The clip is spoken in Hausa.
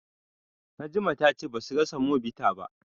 Najma ta ce basu ga Samobita ba.